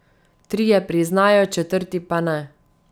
Trije priznajo, četrti pa ne.